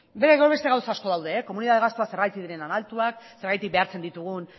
beste gauza asko daude komunitate gastuak zergatik diren hain altuak zergatik behartzen ditugun